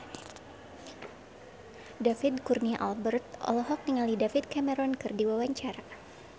David Kurnia Albert olohok ningali David Cameron keur diwawancara